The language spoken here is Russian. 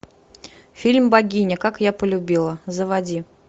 фильм богиня как я полюбила заводи